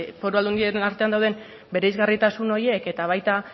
foru aldundien artean dauden bereizgarritasun horiek eta baita